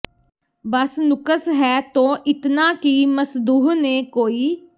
ਬਸ ਨੁਕਸ ਹੈ ਤੋ ਇਤਨਾ ਕਿ ਮਸਦੂਹ ਨੇ ਕੋਈ